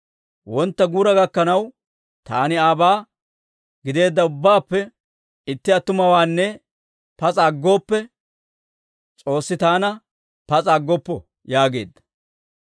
Wontta guura gakkanaw, taani aabaa gideedda ubbaappe itti attumawaanne pas'a aggooppe, S'oossi taana pas'a aggoppo» yaageedda.